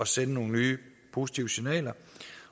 sende nogle nye positive signaler